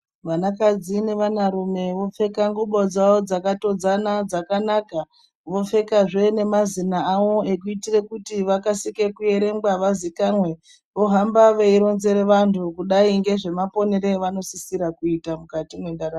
Vanakadzi nevanarume vopfeka ngubo dzavo dzakatodzana dzakanaka. Vopfekazve nemazina avo ekuitire kuti vakase kuerengwa vazikanwe, vohamba veironzere vantu kudai ngezvemaponero evanosisira kuita mukati mwendaramo.